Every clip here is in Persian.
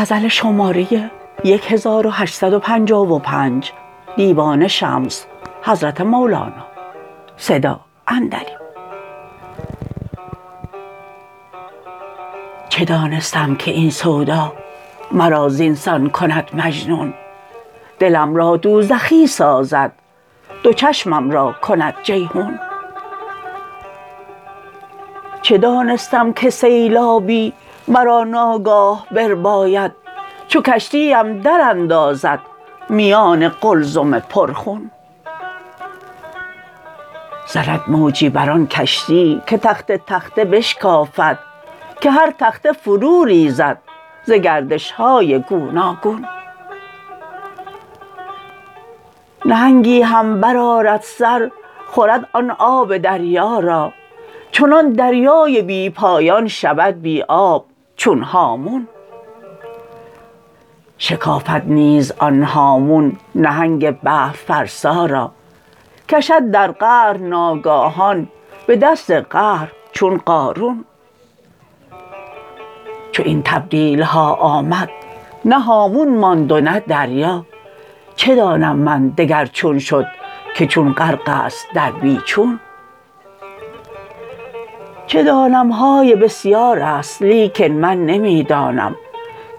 چه دانستم که این سودا مرا زین سان کند مجنون دلم را دوزخی سازد دو چشمم را کند جیحون چه دانستم که سیلابی مرا ناگاه برباید چو کشتی ام دراندازد میان قلزم پرخون زند موجی بر آن کشتی که تخته تخته بشکافد که هر تخته فروریزد ز گردش های گوناگون نهنگی هم برآرد سر خورد آن آب دریا را چنان دریای بی پایان شود بی آب چون هامون شکافد نیز آن هامون نهنگ بحرفرسا را کشد در قعر ناگاهان به دست قهر چون قارون چو این تبدیل ها آمد نه هامون ماند و نه دریا چه دانم من دگر چون شد که چون غرق است در بی چون چه دانم های بسیار است لیکن من نمی دانم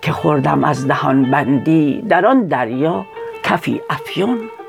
که خوردم از دهان بندی در آن دریا کفی افیون